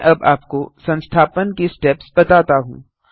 मैं अब आपको संस्थापन के स्टेप्स बताता हूँ